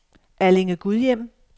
Allinge-Gudhjem